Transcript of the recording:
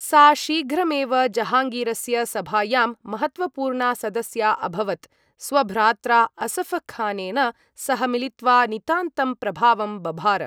सा शीघ्रमेव जहाङ्गीरस्य सभायां महत्त्वपूर्णा सदस्या अभवत्, स्वभ्रात्रा असफ़खानेन सह मिलित्वा नितान्तं प्रभावं बभार।